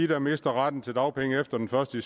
der mister retten til dagpenge efter den første